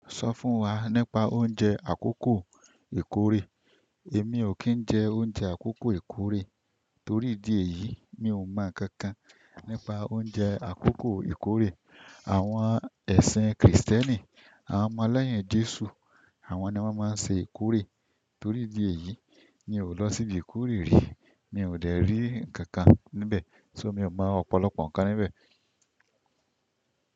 Sọ fún wa nípa oúnjẹ àkókò ìkórè. Èmi ò kí ń jẹ oúnjẹ àkókò ìkórè torí ìdí èyí mi ò mọ̀ ǹkan kan nípa oúnjẹ àkókò ìkórè. Àwọn ẹ̀sìn krìstẹ́nì, àwọn ọmọ lẹ́yìn jesu àwọn ni wọ́n máa ń ṣe ìkórè, torí ìdí èyí mi ò lọ siibi ìkórè rí. Mi ò dè rí ǹkan kan níbẹ̀, ṣo mi ò mọ̀ ọ̀pọ̀lọpọ̀ ǹkan níbẹ̀.